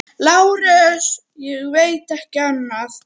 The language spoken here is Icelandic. LÁRUS: Ég veit ekki annað.